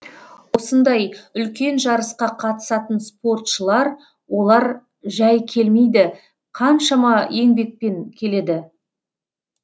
осындай үлкен жарысқа қатысатын спортшылар олар жәй келмейді қаншама еңбекпен келеді